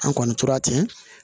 An kɔni tora ten